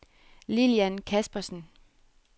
Lilian Kaspersen